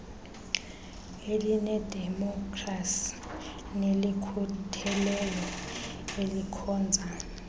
elinedemokhrasi nelikhutheleyo elikhonza